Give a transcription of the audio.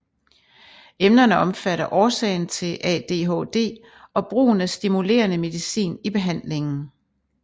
Emnerne omfatter årsagen til ADHD og brugen af stimulerende medicin i behandlingen